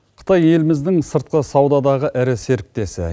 қытай еліміздің сыртқы саудадағы ірі серіктесі